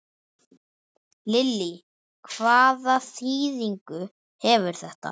Lillý: Hvaða þýðingu hefur þetta?